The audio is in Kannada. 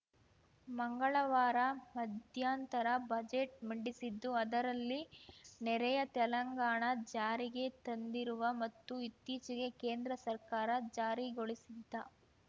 ಮಂಗಳವಾರ ಮಧ್ಯಂತರ ಬಜೆಟ್‌ ಮಂಡಿಸಿದ್ದು ಅದರಲ್ಲಿ ನೆರೆಯ ತೆಲಂಗಾಣ ಜಾರಿಗೆ ತಂದಿರುವ ಮತ್ತು ಇತ್ತೀಚೆಗೆ ಕೇಂದ್ರ ಸರ್ಕಾರ ಜಾರಿಗೊಳಿಸಿದ್ದ